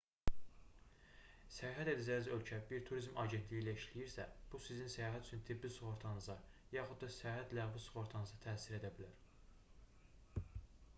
səyahət edəcəyiniz ölkə bir turizm agentliyi ilə işləyirsə bu sizin səyahət üçün tibbi sığortanıza yaxud da səyahət ləğvi sığortanıza təsir edə bilər